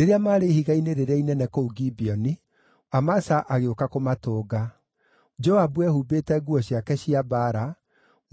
Rĩrĩa maarĩ ihiga-inĩ rĩrĩa inene kũu Gibeoni, Amasa agĩũka kũmatũnga. Joabu eehumbĩte nguo ciake cia mbaara,